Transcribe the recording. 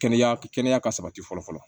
Kɛnɛya kɛnɛya ka sabati fɔlɔ fɔlɔ